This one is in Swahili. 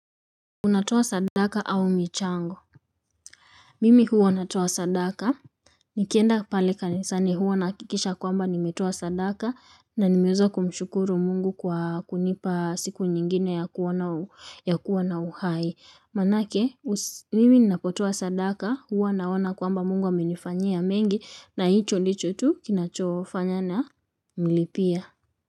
Unatoa sadaka au michango? Mimi huwa natoa sadaka. Nikienda pale kanisani huwa nahakikisha kwamba nimetoa sadaka na nimeweza kumshukuru mungu kwa kunipa siku nyingine ya kuwana uhai, manake mimi ninapotoa sadaka huwa naona kwamba mungu amenifanyia mengi na hicho ndicho tu kinachofanya namilipia.